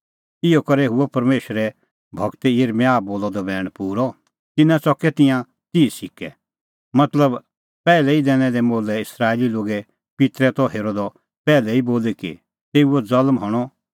इहअ करै हुअ परमेशरे गूर यिर्मयाह बोलअ द बैण पूरअ तिन्नैं च़कै तिंयां तिह सिक्कै मतलब पैहलै ई दैनै दै मोलैइस्राएली लोगे पित्तरै त हेरअ द पैहलै ई बोली कि तेऊओ ज़ल्म हणअ